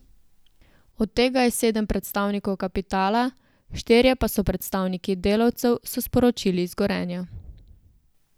Od tega je sedem predstavnikov kapitala, štirje pa so predstavniki delavcev, so sporočili iz Gorenja.